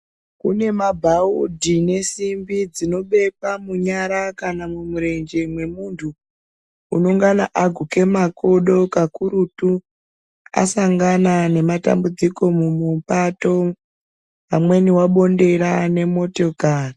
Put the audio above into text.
Kune mabhaudhi nesimbi dzinobekwa munyara kana mumurenje mwemuntu unongana aguke makodo kakurutu asangana nematambudziko mumupato pamweni abondera nemotokari.